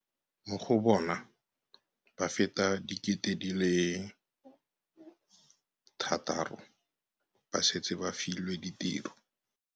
Mo go bona, ba feta 600 000 ba setse ba filwe ditiro.